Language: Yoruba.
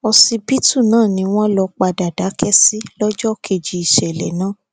ọsibítù náà ni wọn lọ padà dákẹ sí lọjọ kejì ìṣẹlẹ náà